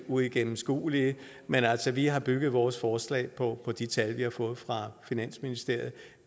uigennemskuelige men altså vi har bygget vores forslag på de tal vi har fået fra finansministeriet